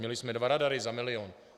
Měli jsme dva radary za milion.